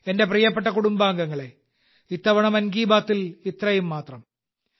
എന്റെ പ്രിയപ്പെട്ട കുടുംബാംഗങ്ങളേ ഇത്തവണത്തെ മൻ കി ബാത്തിൽ ഇത്രയും മാത്രം